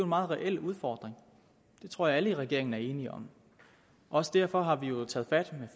meget reel udfordring det tror jeg alle i regeringen er enige om også derfor har vi jo taget fat med